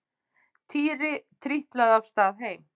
Týri trítlaði af stað heim.